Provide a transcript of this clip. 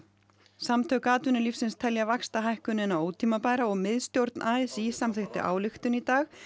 samtök atvinnulífsins telja vaxtahækkunina ótímabæra og miðstjórn a s í samþykkti ályktun í dag